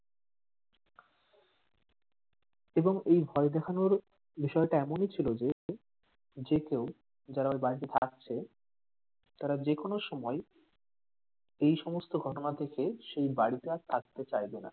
এবং এই ভয় দেখানোর বিষয়টা এমনি ছিল যে যে কেউ যারা ওই বাড়িতে থাকছে তারা যেকোনো সময় এই সমস্ত ঘটনা দেখে সেই বাড়িতে আর থাকতে চাইবে না,